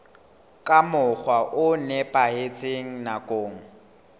ka mokgwa o nepahetseng nakong